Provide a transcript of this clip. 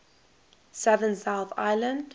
southern south island